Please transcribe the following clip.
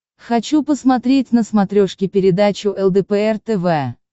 хочу посмотреть на смотрешке передачу лдпр тв